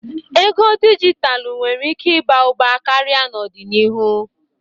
Ego dijitalụ nwere ike ịba ụba karịa n'ọdịnihu.